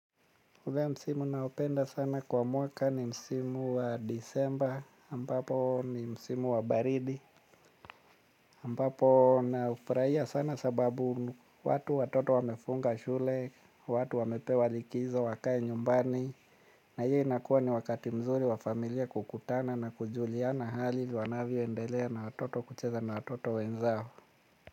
Ule msimu ninaoupenda sana kwa mwaka ni msimu wa disemba, ambapo ni msimu wa baridi, ambapo naufurahia sana sababu watu watoto wamefunga shule, watu wamepewa likizo wakae nyumbani, na hiyo inakuwa ni wakati mzuri wa familia kukutana na kujuliana hali wanavyoendelea na watoto kucheza na watoto wenzao.